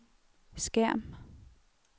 skærm